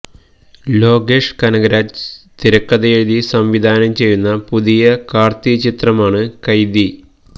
ലോകേഷ് കനഗരാജ് തിരക്കഥയെഴുതി സംവിധാനം ചെയ്യുന്ന പുതിയ കാർത്തി ചിത്രമാണ് കൈദി